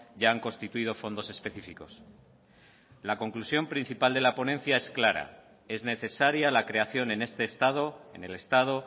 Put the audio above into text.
ya han constituido fondos específicos la conclusión principal de la ponencia es clara es necesaria la creación en este estado en el estado